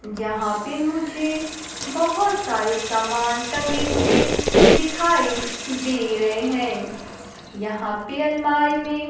जहां पे मुझे बहोत सारे समान टंगे हुए दिखाई दे रहे हैं यहां पे अलमारी में --